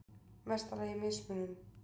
mesta lagi mismunun.